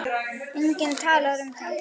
Enginn talar um það.